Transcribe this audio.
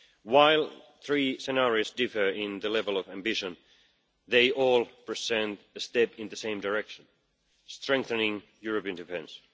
While the three scenarios differ in the level of ambition, they all present a step in the same direction strengthening European defence.